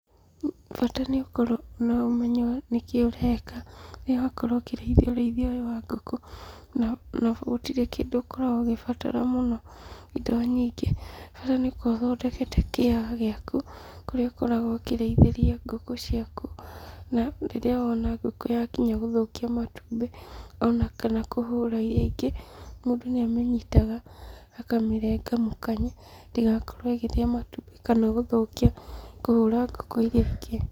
Bata nĩũkorwo wĩna ũmenyo nĩkĩĩ ũreka. Rĩrĩa wakorwo ũkĩrĩithia ũrĩithia ũyũ wa ngũkũ, na gũtirĩ kĩndũ ũkoragwo ũgĩbatara mũno indo nyingĩ, bata nĩũkorwo ũthondekete kĩaga gĩaku, kũrĩa ũkoragwo ũkĩrĩithĩria ngũkũ ciaku, na rĩrĩa wona ngũkũ yakinya gũthũkia matumbĩ, onakana kũhũra iria ingĩ, mũndũ nĩamĩnyitaga akamĩrenga mũkanye, ndĩgakorwo ĩkĩrĩa matumbĩ kana gũthũkia kũhũra ngũkũ iria ingĩ.